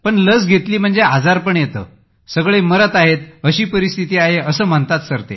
पण लस घेतली म्हणजे आजारपण येते सगळे मरत आहेत अशी परिस्थिती आहे असं म्हणतात ते सर